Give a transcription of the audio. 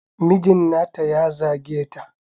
Mijin nata ya zage ta.